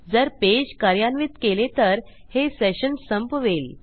जर पेज कार्यान्वित केले तर हे सेशन संपवेल